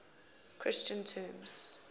christian terms